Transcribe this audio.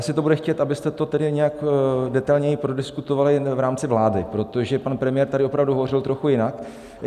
Asi to bude chtít, abyste to tedy nějak detailněji prodiskutovali v rámci vlády, protože pan premiér tady opravdu hovořil trochu jinak.